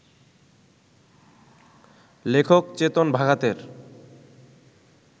লেখক চেতন ভাগাতের